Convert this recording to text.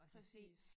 Præcis